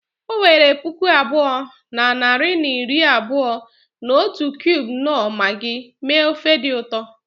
O were puku abụọ na narị na iri abụọ na otu cubes knorr Maggi mee ofe dị ụtọ